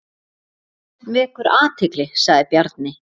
Þetta vekur athygli sagði Bjarni.